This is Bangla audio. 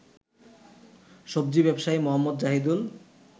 সবজি ব্যবসায়ী মোহাম্মদ জাহিদুল